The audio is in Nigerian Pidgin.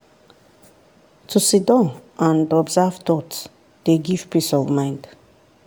to siddon and observe thought dey give peace of mind.